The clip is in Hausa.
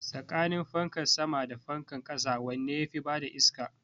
Tsakanin fanka sama da fankan ƙasa wanne yafi bada iska?